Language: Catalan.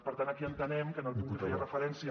per tant aquí entenem que el punt que feia referència